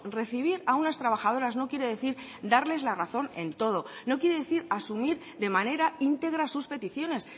recibir a unas trabajadoras no quiere decir darles la razón en todo no quiere decir asumir de manera íntegra sus peticiones